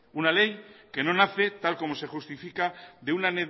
una ley que no nace tal como se justifica de una